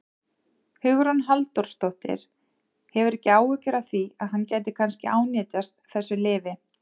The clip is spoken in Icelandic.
Hugrún Halldórsdóttir: Hefurðu ekki áhyggjur af því að hann gæti kannski ánetjast þessu lyfi?